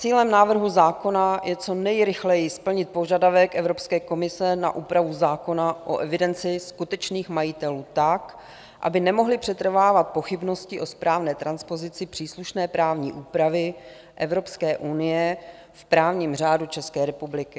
Cílem návrhu zákona je co nejrychleji splnit požadavek Evropské komise na úpravu zákona o evidenci skutečných majitelů tak, aby nemohly přetrvávat pochybnosti o správné transpozici příslušné právní úpravy Evropské unie v právním řádu České republiky.